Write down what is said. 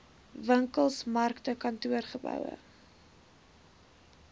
winkels markte kantoorgeboue